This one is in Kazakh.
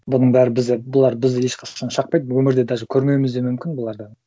бұның бәрі бізді бұлар бізді ешқашан шақпайды өмірде даже көрмеуіміз де мүмкін бұларды